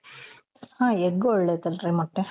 ಹ egg ಒಳ್ಳೆದಲ್ರಿ ಮೊಟ್ಟೆ .